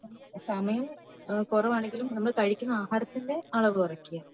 സമയം കുറവാണെങ്കിലും നമ്മൾ കഴിക്കുന്ന ആഹാരത്തിന്റെ അളവ് കുറക്ക